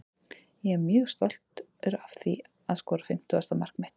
Ég er mjög stoltur að því að skora fimmtugasta mark mitt.